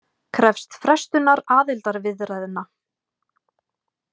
Krefst frestunar aðildarviðræðna